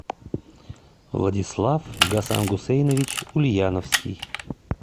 владислав гасангусейнович ульяновский